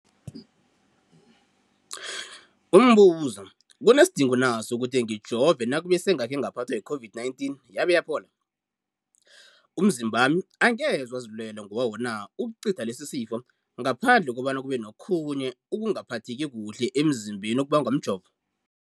Umbuzo, kunesidingo na sokuthi ngijove nakube sengakhe ngaphathwa yi-COVID-19 yabe yaphola? Umzimbami angeze wazilwela ngokwawo na ukucitha lesi isifo, ngaphandle kobana kube nokhunye ukungaphatheki kuhle emzimbeni okubangwa mjovo?